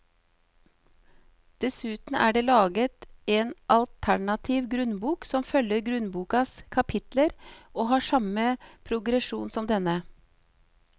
Dessuten er det laget en alternativ grunnbok som følger grunnbokas kapitler og har samme progresjon som denne.